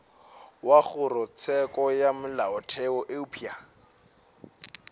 wa kgorotsheko ya molaotheo eupša